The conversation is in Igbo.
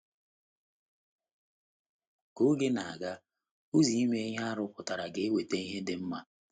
Ka oge na - aga, ụzọ ime ihe a rụpụtara ga-eweta ihe dị mma. ”